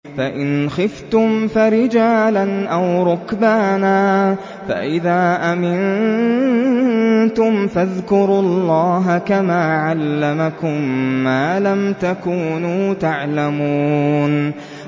فَإِنْ خِفْتُمْ فَرِجَالًا أَوْ رُكْبَانًا ۖ فَإِذَا أَمِنتُمْ فَاذْكُرُوا اللَّهَ كَمَا عَلَّمَكُم مَّا لَمْ تَكُونُوا تَعْلَمُونَ